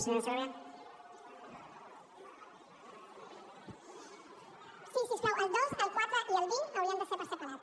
si us plau el dos el quatre i el vint haurien de ser per separat